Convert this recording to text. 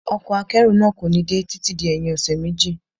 Ọkọ̀ akẹ́rù náà kò ní dé títí di ẹyin ọṣẹ méjì.